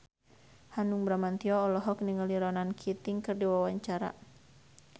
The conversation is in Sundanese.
Hanung Bramantyo olohok ningali Ronan Keating keur diwawancara